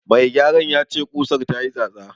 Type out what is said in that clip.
Mai gyaran ya ce ƙusar ta yi tsatsa.